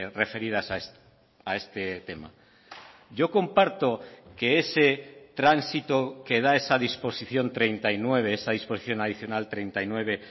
referidas a este tema yo comparto que ese tránsito que da esa disposición treinta y nueve esa disposición adicional treinta y nueve